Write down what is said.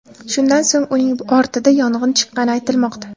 Shundan so‘ng uning bortida yong‘in chiqqani aytilmoqda.